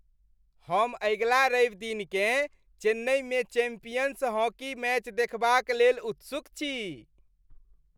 हम अगिला रविदिनकेँ चेन्नईमे चैंपियंस हॉकी मैच देखबाक लेल उत्सुक छी।